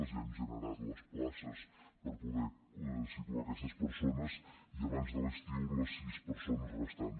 ja hem generat les places per poder situar aquestes persones i abans de l’estiu les sis persones restants